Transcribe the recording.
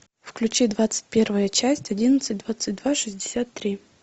включи двадцать первая часть одиннадцать двадцать два шестьдесят три